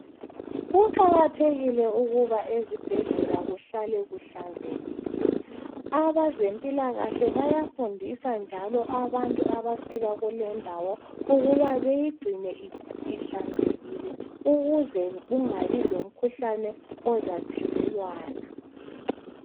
Kuqakathekile ukuba ezibhedlela kuhlale kuhlanzekile. Abazempilakahle bayafundisa njalo abantu abafika kulendawo ukuba beyigcine ihlanzekile ukuze kungabi lomkhuhlane ozathelelwana.